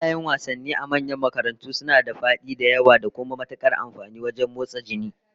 Filayen wasannin a manyan makarantu suna da fadi da yawa, da kuma matukar amfani wajen motsa jini